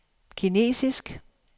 kinesisk